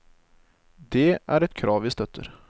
Det er et krav vi støtter.